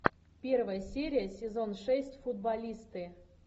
первая серия сезон шесть футболисты